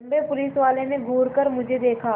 लम्बे पुलिसवाले ने घूर कर मुझे देखा